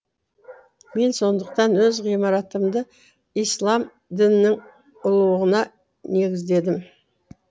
мен сондықтан өз ғимаратымды ислам дінінің ұлылығына негіздедім